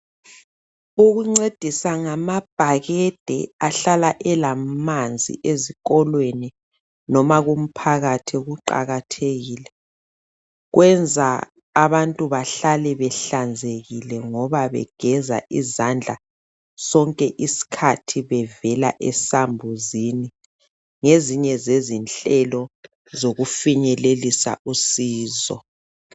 ukuncedisa ngamabhakade ahlala elamanzi ezikolweni loba kumphakathi kuqakathekile kwenza abantu behlale behlanzekile ngoba begeza izandla sonke isikhathi bevela esambuzini ngzinye zezinhlelo zokufinyelelisa usizo